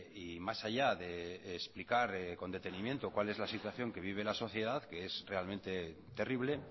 y más allá de explicar con detenimiento cuál es la situación que vive la sociedad que es realmente terrible